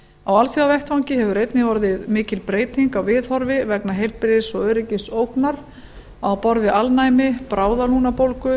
á alþjóðavettvangi hefur einnig orðið mikil breyting á viðhorfi vegna heilbrigðis og öryggisógnar á borð við alnæmi bráðalungnabólgu